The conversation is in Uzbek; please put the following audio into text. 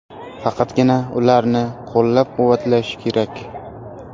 Faqatgina ularni qo‘llab-quvvatlash kerak.